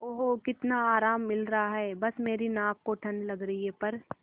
ओह कितना आराम मिल रहा है बस मेरी नाक को ठंड लग रही है प्